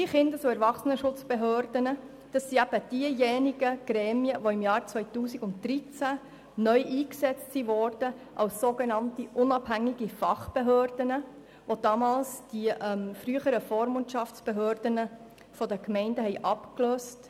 Die Kindes- und Erwachsenenschutzbehörden (KESB) wurden im Jahr 2013 als sogenannte unabhängige Fachbehörden neu eingesetzt und haben die früheren Vormundschaftsbehörden der Gemeinden abgelöst.